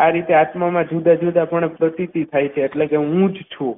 આ રીતે આત્મામાં જુદા જુદા પણ પ્રતીતિ થાય છે એટલે કે હું જ છું